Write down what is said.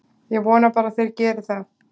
Ég vona bara að þeir geri það.